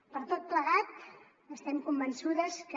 per tot plegat estem convençudes que